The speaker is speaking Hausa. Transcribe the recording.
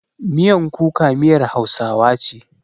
Miyan kuka miyar Hausawa ce.